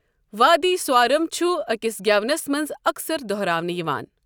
وادی سوارم چھُ أکِس گٮ۪ونَس منٛز اَکثَر دہراونہٕ یِوان۔